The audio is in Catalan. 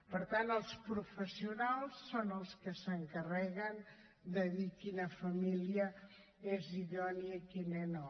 per tant els professionals són els que s’encarreguen de dir quina família és idònia i quina no